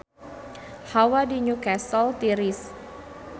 Hawa di Newcastle tiris